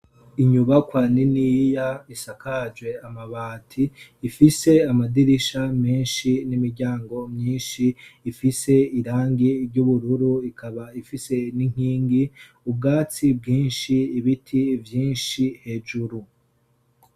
Inyuba kwa niniiya isakaje amabati ifise amadirisha menshi n'imiryango myinshi ifise irangi ry'ubururu ikaba ifise n'inkingi ubwatsi bwinshi ibiti vyinshi hejuru.